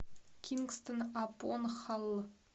кингстон апон халл